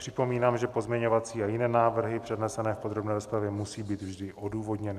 Připomínám, že pozměňovací a jiné návrhy přednesené v podrobné rozpravě musí být vždy odůvodněny.